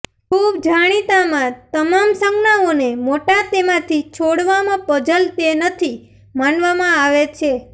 ખૂબ જાણીતા માં તમામ સંજ્ઞાઓને મોટા તેમાંથી છોડવામાં પઝલ તે નથી માનવામાં આવે છે